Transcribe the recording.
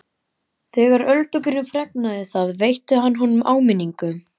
Þegar Öldungurinn fregnaði það veitti hann honum áminningu.